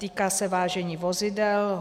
Týká se vážení vozidel.